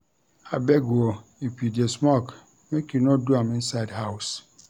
Abeg o if you dey smoke, make you no do am inside house.